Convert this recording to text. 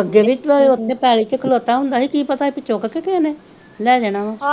ਅੱਗੇ ਵੀ ਤਾ ਉਥੇ ਪੈਲੀ ਚ ਖਲੋਤਾ ਹੁੰਦਾ ਸੀ ਕਿ ਪਤਾ ਚੁੱਕ ਕੇ ਕਿਸੇ ਨੇ ਲੈ ਜਾਣਾ ਵਾ